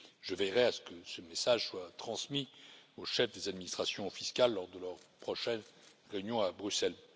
Je veillerai à ce que ce message soit transmis aux chefs des administrations fiscales lors de leur prochaine réunion à Bruxelles.